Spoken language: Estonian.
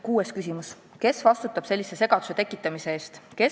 Kuues küsimus: "Kes vastutab sellise segaduse tekitamise eest?